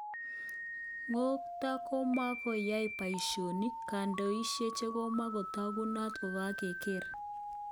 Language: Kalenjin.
Kotko komakoyae paishonik ,kandaishek chekomakotakunat kokangeyor.